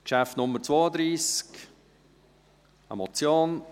Traktandum 32 ist eine Motion …